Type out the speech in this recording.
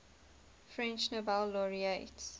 french nobel laureates